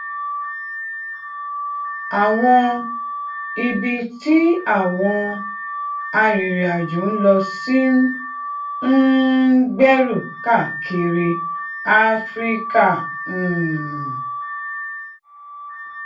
àwọn ibi tí àwọn arìnrìnàjò ń lọ sí ń um gbèrú káàkiri áfíríkà um